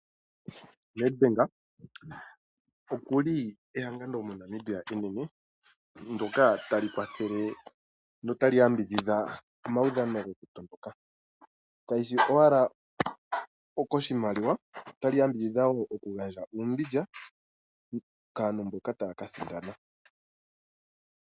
Nedbank oku li ehangano moNamibia enene ndyoka tali kwathele na otali yamibidhidha omaudhano gokutondoka, kaishi owala koshimaliwa otali yambidhidha wo okugandja uumbindja kaantu mboka taya ka sindana.